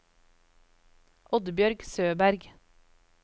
Oddbjørg Søberg